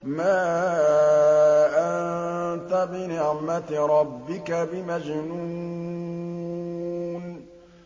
مَا أَنتَ بِنِعْمَةِ رَبِّكَ بِمَجْنُونٍ